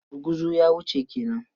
Gurguzu ya wuce ke nan?